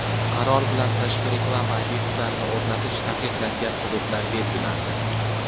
Qaror bilan tashqi reklama obyektlarini o‘rnatish taqiqlangan hududlar belgilandi.